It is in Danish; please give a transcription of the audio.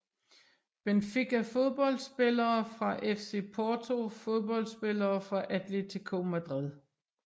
Benfica Fodboldspillere fra FC Porto Fodboldspillere fra Atlético Madrid